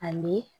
Ani